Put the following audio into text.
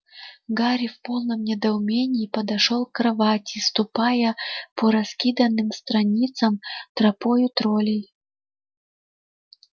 гарри в полном недоумении подошёл к кровати ступая по раскиданным страницам тропою троллей